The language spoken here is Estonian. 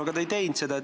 Aga te ei teinud seda.